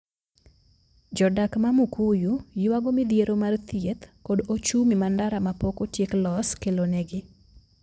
Jodak ma Mukuyu ywago midhiero mar thieth kod ochumi ma ndara ma pok otiek los kelonegi.